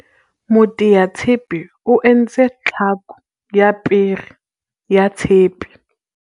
moteatshepe o entse tlhako ya pere ya tshepe